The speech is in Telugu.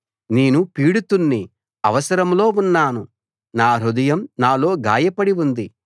నేను పీడితుణ్ణి అవసరంలో ఉన్నాను నా హృదయం నాలో గాయపడి ఉంది